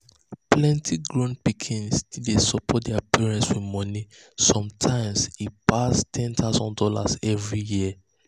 plenty grown pikin still dey support their parents with money sometimes e pass one thousand dollars0 every year.